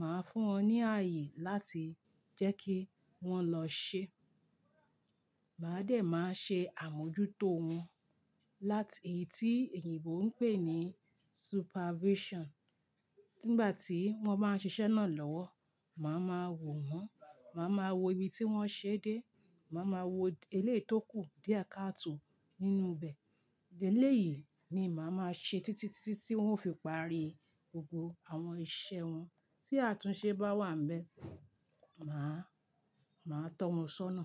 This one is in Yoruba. màá fún wọn ní ààyè láti jẹ́ kí wón lọ ṣe. Maa dẹ̀, màá ṣe àmójútó wọn láti èyí tí èyíǹbo ń pè ní supervision. Nígbà tí wọ́n bá ń ṣiṣẹ́ náà lọ́wọ́, màá máa wò wọ́n, màá máa wo ibi tí wón ṣe dé, màá máa wo eléyìí tó kù díẹ̀ káàtò nínú bẹ̀. Eléyìí ni màá máa ṣe títí tí ti ti tiwọ́n ó fi parí gbogbo àwọn iṣẹ́ wọn. Tí àtúnṣe bá wà níbẹ̀, màá, màá tọ́ wọn ṣọ́nà.